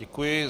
Děkuji.